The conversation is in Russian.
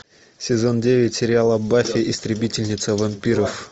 сезон девять сериала баффи истребительница вампиров